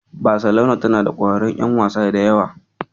Baselona tana da ƙwararrun ƴan wasa da yawa.